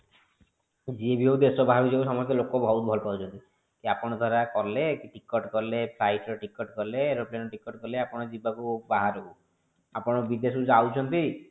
ତ ଯିଏ ବି ହୋଉ ଦେଶ ବାହାରକୁ ଯିବ ଲୋକ ବହୁତ ଭଲ ପାଉଛନ୍ତି କି ଆପଣ ଦ୍ଵାରା କଲେ ticket କାଲେ flight ର ticket କଲେ aeroplane ticket କଲେ ଆପଣ ଯିବାକୁ ବାହାରକୁ ଆପଣ ବିଦେଶକୁ ଯାଉଛନ୍ତି